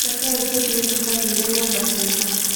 Rekei tũthiĩ tũkagĩre nyũmba ciitũ.